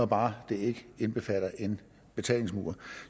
bare ikke indbefatter en betalingsmur